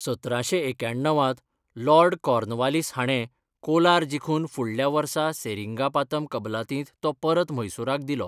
सतराशें एक्याण्णव त लॉर्ड कॉर्नवालिस हाणें कोलार जिखून फुडल्या वर्सा सेरिंगापातम कबलातींत तो परत म्हैसूराक दिलो.